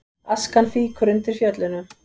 Askan fýkur undir Fjöllunum